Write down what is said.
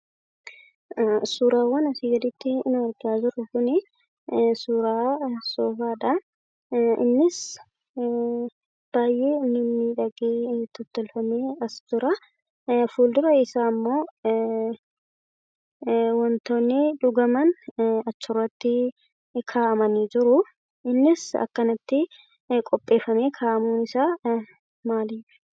Suuraawwan asii gaditti argaa jirru Kuni, suuraa soofaadhaa, innis baayyee mimmiidhagee tottolfamee as jiraa, fuuldura isaa immoo waantonni dhugaman achirrattii kaa'amanii jiruu, innis akkanatti qopheeffamee kaa'amuun isaa maaliifi?